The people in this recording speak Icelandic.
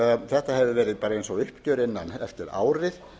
þetta hefur verið bara eins og uppgjör eftir árið